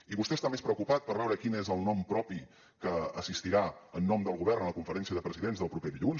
i vostè està més preocupat per veure quin és el nom propi que assistirà en nom del govern a la conferència de presidents del proper dilluns